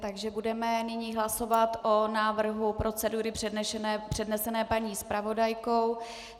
Takže budeme nyní hlasovat o návrhu procedury přednesené paní zpravodajkou.